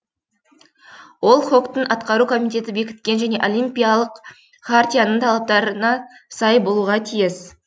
ол хок тың атқару комитеті бекіткен және олимпиялық хартияның талаптарына сай болуға тиіс